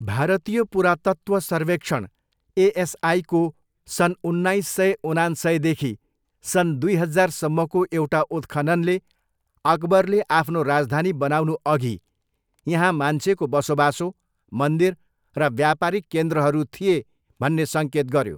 भारतीय पुरातत्त्व सर्वेक्षण, एएसआईको सन् उन्नाइस सय उनान्सयदेखि सन् दुई हजारसम्मको एउटा उत्खननले अकबरले आफ्नो राजधानी बनाउनुअघि यहाँ मान्छेको बसोबासो, मन्दिर र व्यापारिक केन्द्रहरू थिए भन्ने सङ्केत गऱ्यो।